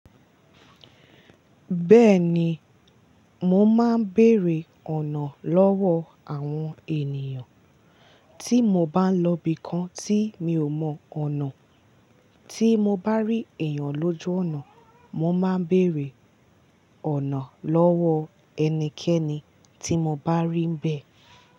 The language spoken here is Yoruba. Bẹ́ẹ̀ni, mo máa ń bèèrè ọ̀nà lọ́wọ́ àwọn ènìyàn. Tí mo bá ń lọ ibi kan tí mi ò mọ ọ̀nà, tí mo bá rí èèyàn lójú ọ̀nà, mo máa ń bèèrè ọ̀nà lọ́wọ́ ẹnikẹ́ni tí mo bá rí ń bẹ.